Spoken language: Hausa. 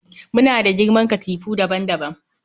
Muna da girman katifu daban-daban